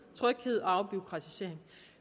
tryghed og afbureaukratisering